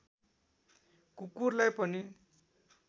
कुकुरलाई पनि